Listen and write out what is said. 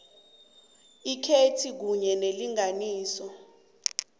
ikhetjhi kunye neenlinganiso